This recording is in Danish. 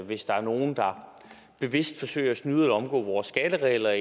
hvis der er nogen der bevidst forsøger at snyde eller omgå vores skatteregler